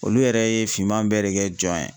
Olu yɛrɛ ye finman bɛɛ de kɛ jɔn ye.